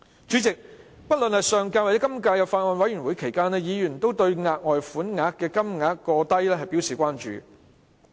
主席，不論在上屆或今屆立法會法案委員會審議期間，委員均對額外款項過低表示關注。